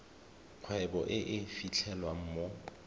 kgwebo e e fitlhelwang mo